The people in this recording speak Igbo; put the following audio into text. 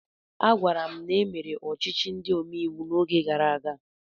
Agwara m na e mere ọchịchị ndị omeiwu n'oge gara aga.